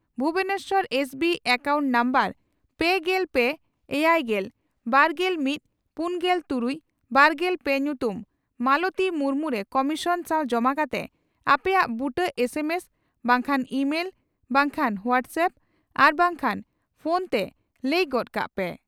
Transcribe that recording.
Bhubaneswar SB account number ᱯᱮᱜᱮᱞ ᱯᱮ ,ᱮᱭᱟᱭᱜᱮᱞ ,ᱵᱟᱨᱜᱮᱞ ᱢᱤᱛ ,ᱯᱩᱱᱜᱮᱞ ᱛᱩᱨᱩᱭ ,ᱵᱟᱨᱜᱮᱞ ᱯᱮ ᱧᱩᱛᱩᱢ ᱢᱟᱞᱚᱛᱤ ᱢᱩᱨᱢᱩ ᱨᱮ ᱠᱚᱢᱤᱥᱚᱱ ᱥᱟᱣ ᱡᱚᱢᱟ ᱠᱟᱛᱮ ᱟᱯᱮᱭᱟᱜ ᱵᱩᱴᱟᱹ ᱮᱥ ᱮᱢ ᱮᱥ ᱵᱟᱝᱠᱷᱟᱱ ᱤᱢᱮᱞ ᱵᱟᱝᱠᱷᱟᱱ ᱦᱚᱣᱟᱴᱥᱮᱯᱯ ᱟᱨ ᱵᱟᱝᱠᱷᱟᱱ ᱯᱷᱚᱱᱛᱮ ᱞᱟᱹᱭ ᱜᱚᱫ ᱠᱟᱜ ᱯᱮ ᱾